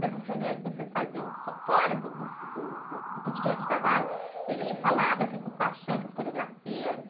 Nessas reuniões que vocês faziam fo, fora do, do, do, do cotidiano de trabalho, ele falava com paixão pelas coreografias?